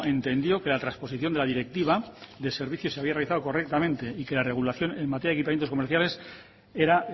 entendió que la trasposición de la directiva de servicios se había realizado correctamente y que la regulación en materia de equipamientos comerciales era